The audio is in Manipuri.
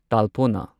ꯇꯥꯜꯄꯣꯅꯥ